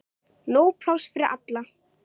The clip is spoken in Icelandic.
Nóg pláss fyrir alla.